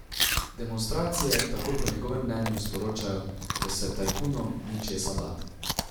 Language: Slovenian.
Demonstracije tako po njegovem mnenju sporočajo, da se tajkunom ni česa bati.